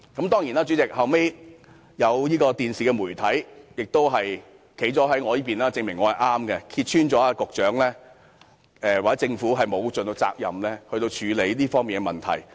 代理主席，其後有電視媒體站在我們這一方，證明我們是正確的，揭穿了局長或政府沒有盡責地處理好這方面的問題。